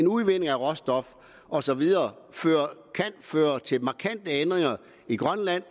udvinding af råstoffer og så videre kan føre til markante ændringer i grønland